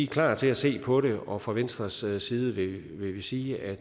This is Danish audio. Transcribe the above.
klar til at se på det og fra venstres side side vil vi sige at